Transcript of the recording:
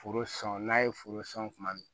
Foro sɔn n'a ye foro sɔn kuma min